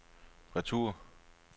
retur